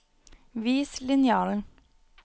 vis linjalen